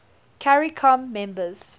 caricom members